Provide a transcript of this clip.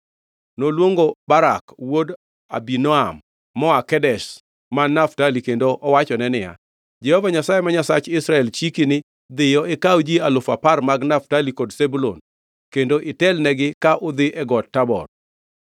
Noluongo Barak wuod Abinoam moa Kedesh man Naftali kendo owachone niya, “Jehova Nyasaye ma Nyasach Israel, chiki ni, ‘Dhiyo, ikaw ji alufu apar mag Naftali kod Zebulun kendo itelnegi ka udhi e Got Tabor.